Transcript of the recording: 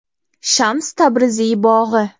Shams Tabriziy bog‘i.